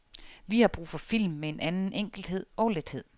Vi har brug for film med en anden enkelhed og lethed.